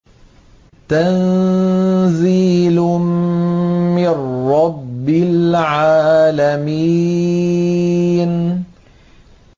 تَنزِيلٌ مِّن رَّبِّ الْعَالَمِينَ